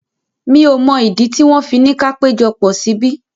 Mi ò mọ̀ ìdí tí wọ́n fi ni ka péjọpọ̀ síbí.